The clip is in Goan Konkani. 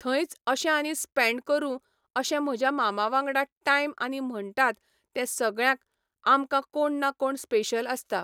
थंयच अशें आनी स्पेंड करूं अशें म्हज्या मामा वांगडा टायम आनी म्हणटात ते सगळ्यांक आमकां कोण ना कोण स्पेशल आसता.